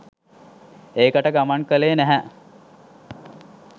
එකට ගමන් කෙළේ නැහැ.